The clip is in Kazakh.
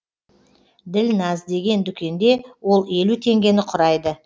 ділназ деген дүкенде ол елу теңгені құрайды